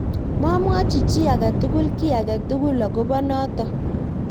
mamwochi chii age tugul ky age tugul akobo noto